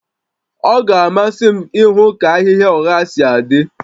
Ọ ga-amasị m ịhụ ka ahịhịa ụgha si adị